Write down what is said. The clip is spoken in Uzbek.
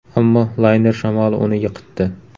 Ammo layner shamoli uni yiqitdi.